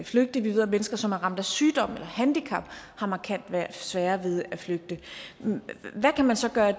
flygte vi ved at mennesker som er ramt af sygdom eller handicap har markant sværere ved at flygte hvad kan man så gøre